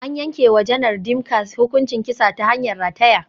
An yanke wa Janar Dimka hukuncin kisa ta hanyar rataya.